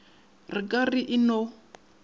re ka re e no